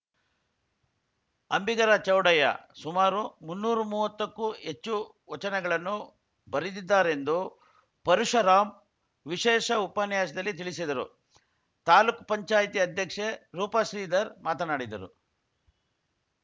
ಅಂಬಿಗರ ಚೌಡಯ್ಯ ಸುಮಾರು ಮುನ್ನೂರು ಮೂವತ್ತಕ್ಕೂ ಹೆಚ್ಚು ವಚನಗಳನ್ನು ಬರೆದಿದ್ದಾರೆಂದು ಪರುಶರಾಮ್‌ ವಿಶೇಷ ಉಪನ್ಯಾಸದಲ್ಲಿ ತಿಳಿಸಿದರು ತಾಲ್ಲೂಕು ಪಂಚಾಯತಿ ಅಧ್ಯಕ್ಷೆ ರೂಪ ಶ್ರೀಧರ್‌ ಮಾತನಾಡಿದರು